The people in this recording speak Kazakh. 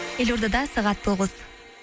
елордада сағат тоғыз